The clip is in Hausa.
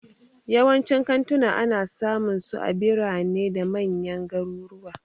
Yawancin kantuna ana samunsu a birane da manyan garuruwa.